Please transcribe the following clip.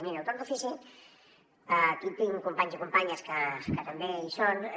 miri el torn d’ofici aquí tinc companys i companyes que també hi són